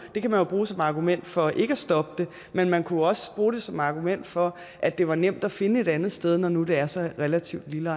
det kan man jo bruge som argument for ikke at stoppe det men man kunne også bruge det som argument for at det var nemt at finde et andet sted når nu det er så relativt lille